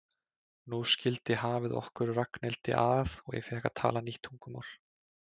Nú skildi hafið okkur Ragnhildi að og ég fékk að tala nýtt tungumál.